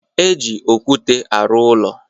E ji okwute arụ ụlọ.